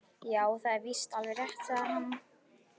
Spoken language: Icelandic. Já, það er víst alveg rétt- sagði hann.